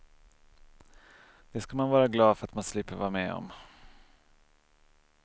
Det ska man vara glad för att man slipper vara med om.